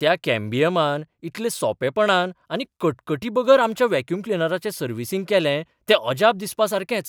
त्या कॅम्बियमान इतले सोंपेपणान आनी कटकटीबगर आमच्या व्हॅक्युम क्लिनराचें सर्व्हिसिंग केलें तें अजाप दिसपासारकेंच .